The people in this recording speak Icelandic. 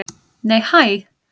Nei hæ!